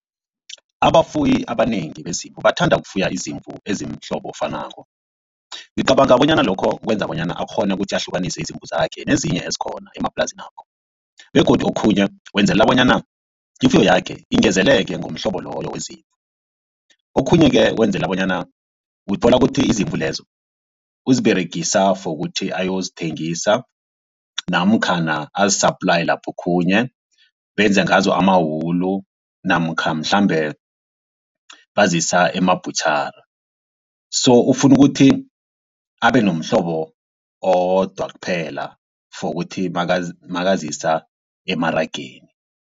Abafuyi abanengi bezimvu bathanda ukufuya izimvu ezimhlobo ofanako. Ngicabanga bonyana lokho kwenza bonyana akghone ukuthi ahlukanise izimvu zakhe nezinye ezikhona emaplazinapha begodu okhunye wenzelela bonyana ifuyo yakhe ingezeleke ngomhlobo loyo wezimvu. Okhunye-ke wenzela bonyana uthola kuthi izimvu lezo uziberegisa for ukuthi ayozithengisa namkhana azi-supply lapho khunye benze ngazo amawulu namkha mhlambe bazisa emabhutjhara so ufuna ukuthi abenomhlobo owodwa kuphela for ukuthi makazisa emarageni.